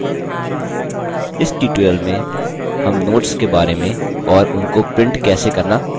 इस tutorial में हम notes के बारे में और उनको print कैसे करना सीखेंगे